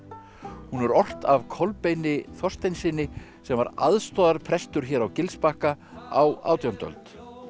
hún er ort af Kolbeini Þorsteinssyni sem var aðstoðarprestur hér á Gilsbakka á átjándu öld